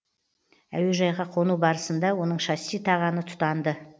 әуежайға қону барысында оның шасси тағаны тұтанды